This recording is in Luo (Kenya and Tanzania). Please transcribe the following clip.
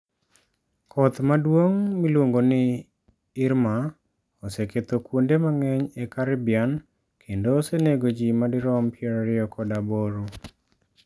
Koth maduong ' miluongo ni Irma oseketho kuonde mang'eny e Caribbean kendo osenego ji madirom 28.